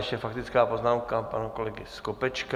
Ještě faktická poznámka pana kolegy Skopečka.